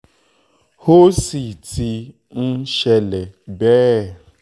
ó sì ti ń ṣẹlẹ̀ bẹ́ ẹ